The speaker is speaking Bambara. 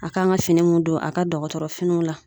A kan ka fini mun don a ka dɔgɔtɔrɔfiniw la.